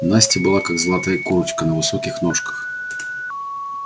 настя была как золотая курочка на высоких ножках